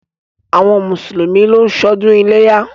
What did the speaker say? Àwọn mùsùlùmí ló ń ṣọdún iléyá.